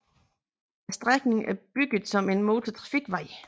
Strækningen er bygget som en motortrafikvej